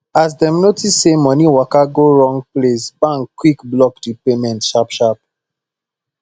as dem notice say money waka go wrong place bank quickly block the payment sharpsharp